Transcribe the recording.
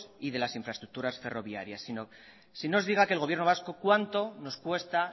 y de las infraestructuras ferroviarias sino se diga que el gobierno vasco cuánto nos cuesta